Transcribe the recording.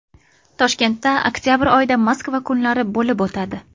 Toshkentda oktabr oyida Moskva kunlari bo‘lib o‘tadi.